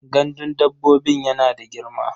Gandun dabbobin yana da girma?